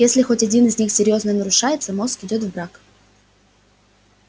если хоть один из них серьёзно нарушается мозг идёт в брак